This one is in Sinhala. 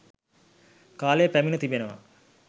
කාලය පැමිණ තිබෙනවා